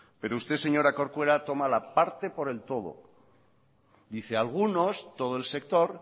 pero usted señora corcuera toma la parte por el todo dice algunos todo el sector